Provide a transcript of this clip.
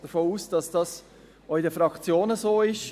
Ich gehe davon aus, dass dies auch in den Fraktionen so ist.